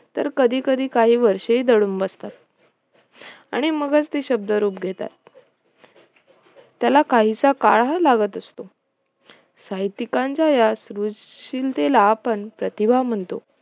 तर कधी कधी काही वर्षेही दडून बसतात आणि मगच ते शब्दरूप घेतात त्याला काहीसा कळहा लागत असत साहित्यिकांच्या या सृशिलतेला आपण प्रतिभा म्हणतो